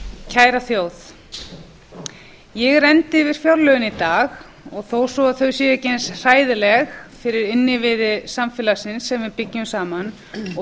kæra þjóð ég renndi yfir fjárlögin í dag og þó svo að þau séu ekki eins hræðileg fyrir innviði samfélagsins sem við byggjum saman og